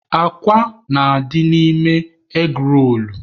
Akwa na-adị n'ime egị roolu.